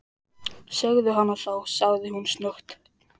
Segðu hana þá- sagði hún snöggt.